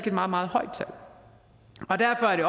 et meget meget højt tal og derfor er det